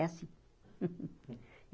É assim.